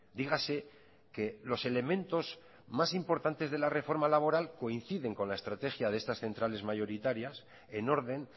dígase que los elementos más importantes de la reforma laboral coinciden con la estrategia de estas centrales mayoritarias en orden